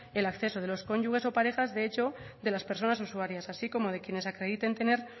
el acceso de los cónyuges o parejas de hecho de las personas usarías así como de quienes acrediten tener